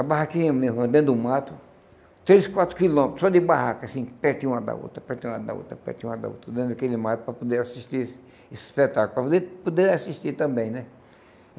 A barraquinha mesmo, dentro do mato, três, quatro quilômetros, só de barraca, assim, pertinho de uma da outra, pertinho de uma da outra, pertinho de uma da outra, dentro daquele mato, para poder assistir esse espetáculo, para poder poder assistir também, né?